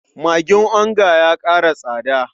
Magin onga ya ƙara tsada.